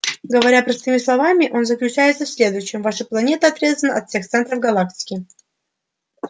говоря простыми словами он заключается в следующем ваша планета отрезана от всех центров галактики и ей угрожают сильные соседи